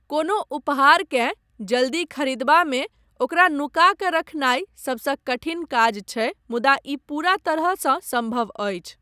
कोनो उपहारकेँ जल्दी खरीदबामे ओकरा नुका कऽ रखने सबसँ कठिन काज छै मुदा ई पूरा तरहसँ सम्भव अछि।